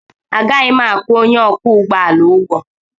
Agaghị m akwụ onye ọkwọ ụgbọ ala ụgwọ